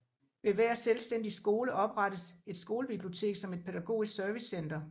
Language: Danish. Ved hver selvstændig skole oprettes et skolebibliotek som et pædagogisk servicecenter